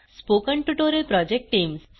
spoken tutorial project team